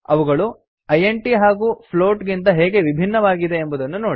ಅವುಗಳು ಇಂಟ್ ಹಾಗೂ ಫ್ಲೋಟ್ ಗಿಂತ ಹೇಗೆ ವಿಭಿನ್ನವಾಗಿದೆ ಎಂಬುದನ್ನು ನೋಡಿ